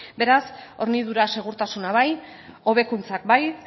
beraz hornidura segurtasuna bai hobekuntzak bai